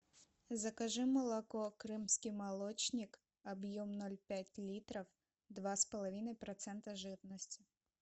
закажи молоко крымский молочник объем ноль пять литров два с половиной процента жирности